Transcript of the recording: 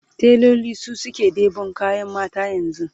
tailoli su suke ɗeban ƙuɗin mata yanzu